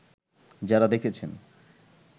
যারা দেখেছেন